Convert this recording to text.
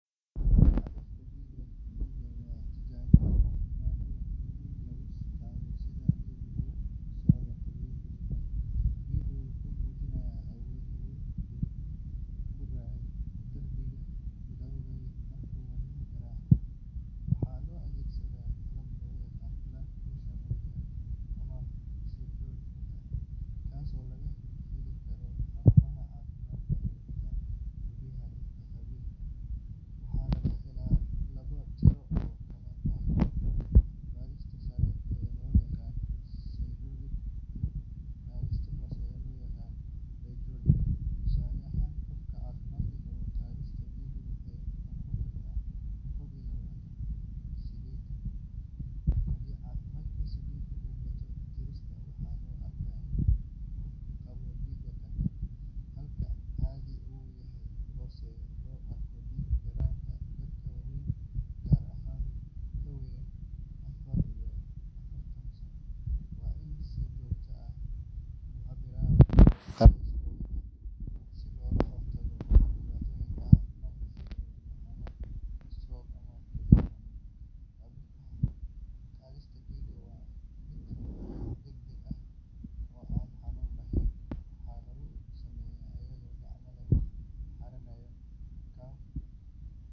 Cabbirka cadaadiska dhiigga waa tijaabo caafimaad oo muhiim ah oo lagu ogaado sida dhiiggu ugu socdo xididdada jirka. Cadaadiska dhiiggu wuxuu muujinayaa awoodda uu dhiiggu ku riixayo darbiyada halbowlayaasha marka wadnuhu garaacayo. Waxaa la adeegsadaa qalab loo yaqaan blood pressure monitor ama sphygmomanometer kaasoo laga heli karo xarumaha caafimaadka iyo xitaa guryaha dadka. Cabbirkan waxaa laga helaa laba tiro oo kala ah cadaadiska sare ee loo yaqaan systolic iyo cadaadiska hoose ee loo yaqaan diastolic. Tusaale ahaan, qof caafimaad qaba cadaadiskiisa dhiigga wuxuu noqon karaa boqol iyo labaatan/sideetan. Haddii cadaadiska dhiiggu ka bato tiradaas waxaa loo arkaa inuu qofku qabo dhiig karka, halka haddii uu ka hooseeyo loo arko dhiig yaraanta. Dadka waaweyn gaar ahaan ka weyn afar iyo afartan sano waa in ay si joogto ah u cabbiraan cadaadiskooda dhiigga si looga hortago dhibaatooyin caafimaad sida wadne xanuun, istaroog ama kelyo xanuun. Cabbirka cadaadiska dhiigga waa mid degdeg ah oo aan xanuun lahayn, waxaana lagu sameeyaa iyadoo gacanta lagu xirayo cuff.